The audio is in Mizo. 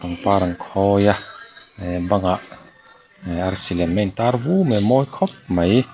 pangpar an khawi a ehh bangah ehh arsi lem a in tar vu mai a mawi khawp mai.